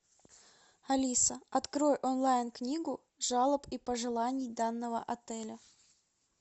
алиса открой онлайн книгу жалоб и пожеланий данного отеля